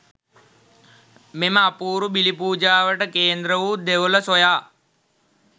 මෙම අපූරු බිලි පූජාවට කේන්ද්‍ර වූ දෙවොල සොයා